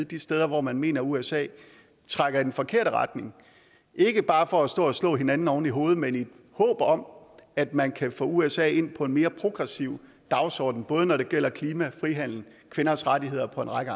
de steder hvor man mener usa trækker i den forkerte retning ikke bare for at stå og slå hinanden oven i hovedet men i et håb om at man kan få usa ind på en mere progressiv dagsorden både når det gælder klima frihandel kvinders rettigheder og en række